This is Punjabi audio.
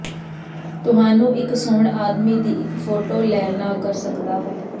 ਤੁਹਾਨੂੰ ਇੱਕ ਸੌਣ ਆਦਮੀ ਦੀ ਇੱਕ ਫੋਟੋ ਲੈ ਨਾ ਕਰ ਸਕਦਾ ਹੈ